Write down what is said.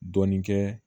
Dɔɔnin kɛ